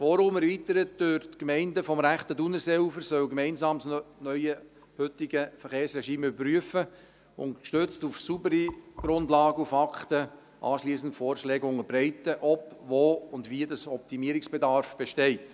Das Forum, erweitert durch die Gemeinden des rechten Thunerseeufers, soll gemeinsam das neue heutige Verkehrsregime überprüfen und anschliessend gestützt auf saubere Grundlagen und Fakten Vorschläge unterbreiten, ob, wo und wie Optimierungsbedarf besteht.